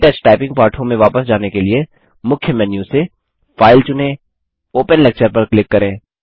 के touch typing पाठों में वापस जाने के लिए मुख्य मेन्यू से फाइल चुनें ओपन लेक्चर पर क्लिक करें